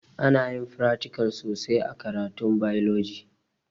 Anayin fratikal sosai a karatun bailoji